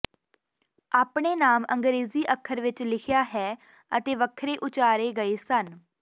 ਆਪਣੇ ਨਾਮ ਅੰਗਰੇਜ਼ੀ ਅੱਖਰ ਵਿੱਚ ਲਿਖਿਆ ਹੈ ਅਤੇ ਵੱਖਰੇ ਉਚਾਰੇ ਗਏ ਸਨ